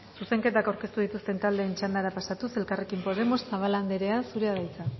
zuzenketak aurkeztu dituzten taldeen txandara pasatuz elkarrekin podemos zabala anderea zurea da hitza